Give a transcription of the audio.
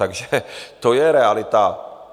Takže to je realita.